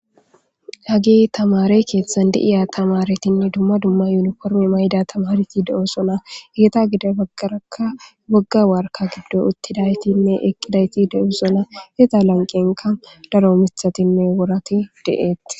hage tamare keeththan deiya tamaretinne dumma dumma yuuni kormi mayda tamareti de7o sona geeta gida baggarakka wogga warka giddo uttidaytinne eqqidayti de7o sona heta lanqenka daro mithatinne worati de7eett